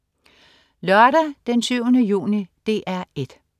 Lørdag den 7. juni - DR 1: